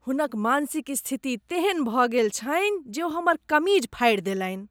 हुनक मानसिक स्थिति तेहन भऽ गेल छनि जे ओ हमर कमीज फाड़ि देलनि।